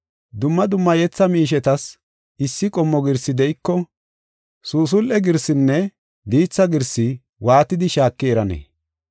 Dumma dumma yetha miishetas issi qommo girsi de7iko, suusul7e girsinne diitha girsi waatidi shaaki eranee?